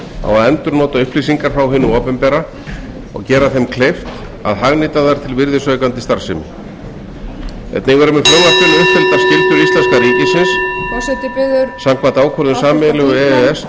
á að endurnota upplýsingar frá hinu opinbera og gera þeim kleift að hagnýta þær til virðisaukandi starfsemi forseti biður háttvirtir þingmenn að hafa ró í salnum einnig eru með frumvarpinu uppfylltar skyldur íslenska ríkisins samkvæmt ákvörðun sameiginlegu e e s